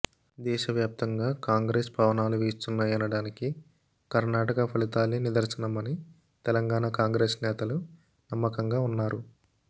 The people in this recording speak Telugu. దేశవ్యాప్తంగా కాంగ్రెస్ పవనాలు వీస్తున్నాయనడానికి కర్ణాటక ఫలితాలే నిదర్శనమని తెలంగాణ కాంగ్రెస్ నేతలు నమ్మకంగా ఉన్నారు